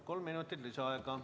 Kolm minutit lisaaega.